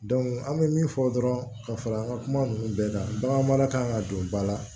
an bɛ min fɔ dɔrɔn ka fara an ka kuma ninnu bɛɛ kan bagan mara kan ka don ba la